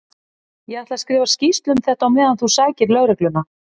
Ég ætla að skrifa skýrslu um þetta á meðan þú sækir lögregluna.